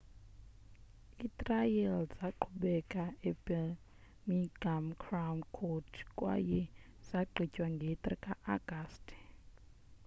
itrial zaqhubeka ebirmingham crown court kwaye zagqitywa nge-3 ka-agasti